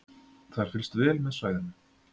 Það er fylgst vel með svæðinu